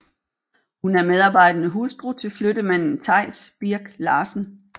Hun er medarbejdende hustru til flyttemanden Theis Birk Larsen